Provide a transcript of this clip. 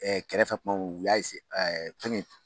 kɛrɛfɛ kuma min u y'a fɛngɛ